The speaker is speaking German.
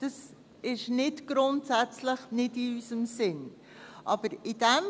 Das ist nicht grundsätzlich nicht in unserem Sinn.